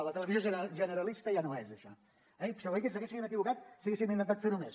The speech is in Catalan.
la televisió generalista ja no és això eh i segurament que ens haguéssim equivocat si haguéssim intentat ferho més